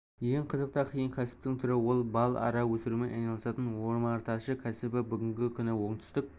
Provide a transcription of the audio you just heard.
ең қызық та қиын кәсіптің түрі ол бал ара өсірумен айналысатын омарташы кәсібі бүгінгі күні оңтүстік